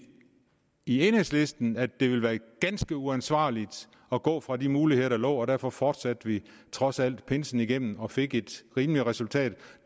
i enhedslisten at det ville være ganske uansvarligt at gå fra de muligheder der lå og derfor fortsatte vi trods alt pinsen igennem og fik et rimeligt resultat